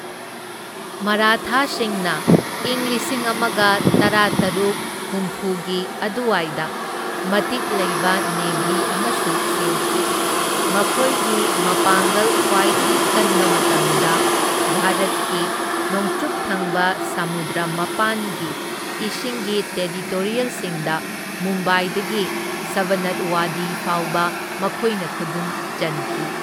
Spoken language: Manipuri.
ꯃꯔꯥꯊꯥꯁꯤꯡꯅ ꯢꯪ ꯂꯤꯁꯤꯡ ꯑꯃꯒ ꯇꯔꯥꯇꯔꯨꯛ ꯍꯨꯝꯐꯨꯒꯤ ꯑꯗꯨꯋꯥꯏꯗ ꯃꯇꯤꯛ ꯂꯩꯕ ꯅꯦꯚꯤ ꯑꯃꯁꯨ ꯁꯦꯝꯈꯤ, ꯃꯈꯣꯏꯒꯤ ꯃꯄꯥꯡꯒꯜ ꯈ꯭ꯋꯥꯏꯗꯒꯤ ꯀꯟꯕ ꯃꯇꯝꯗ ꯚꯥꯔꯠꯀꯤ ꯅꯣꯡꯆꯨꯞ ꯊꯪꯕ ꯁꯃꯨꯗ꯭ꯔ ꯃꯄꯥꯟꯒꯤ ꯏꯁꯤꯡꯒꯤ ꯇꯦꯔꯤꯇꯣꯔꯤꯑꯦꯜꯁꯤꯡꯗ ꯃꯨꯝꯕꯥꯏꯗꯒꯤ ꯁꯕꯅꯠꯋꯥꯗꯤ ꯐꯥꯎꯕ ꯃꯈꯣꯏꯅ ꯈꯨꯗꯨꯝ ꯆꯟꯈꯤ꯫